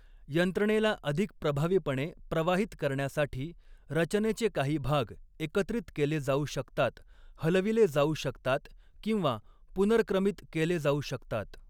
यंत्रणेला अधिक प्रभावीपणे प्रवाहित करण्यासाठी रचनेचे काही भाग एकत्रित केले जाऊ शकतात, हलविले जाऊ शकतात किंवा पुनर्क्रमित केले जाऊ शकतात.